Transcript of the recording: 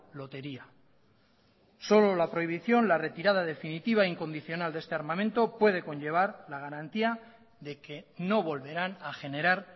lotería solo la prohibición la retirada definitiva e incondicional de este armamento puede conllevar la garantía de que no volverán a generar